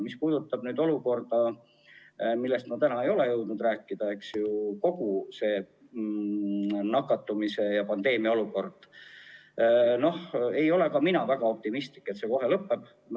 Mis puudutab olukorda, millest ma täna ei ole jõudnud rääkida – kogu seda nakatumise ja pandeemia olukorda –, siis ei ole ka mina väga optimistlik, et see kohe lõpeb.